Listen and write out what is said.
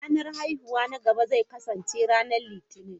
Ranar haihuwata na gaba zai kasance ranar Litinin.